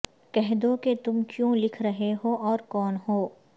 کہہ دو کہ تم کیوں لکھ رہے ہو اور کون ہو